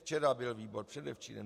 Včera byl výbor, předevčírem.